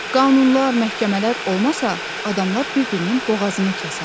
Qanunlar, məhkəmələr olmasa, adamlar bir-birinin boğazını kəsər.